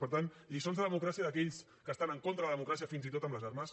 per tant lliçons de democràcia d’aquells que estan en contra de la democràcia fins i tot amb les armes